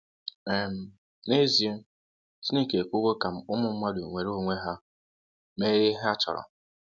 um N'ezie, Chineke ekwewo ka ụmụ mmadụ nweere onwe ha mee ihe ha chọrọ.